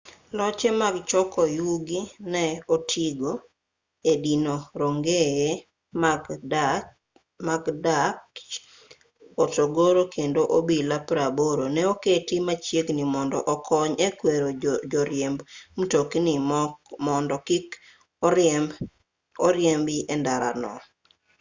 loche mag choko yugi ne otigo e dino rongeye mag ndach hotogoro kendo obila 80 ne oketi machiegni mondo okony e kwero joriemb mtokni mondo kik oriembi e ndara no